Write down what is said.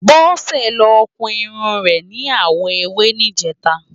Bose ló kún irún rè ni áwò éwé nijètá